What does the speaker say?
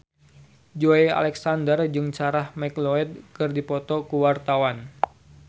Joey Alexander jeung Sarah McLeod keur dipoto ku wartawan